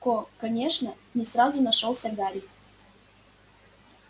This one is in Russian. ко конечно не сразу нашёлся гарри